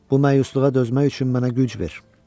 Bu məyusluğa dözmək üçün mənə güc ver.